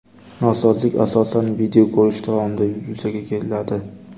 Nosozlik asosan video ko‘rish davomida yuzaga keladi.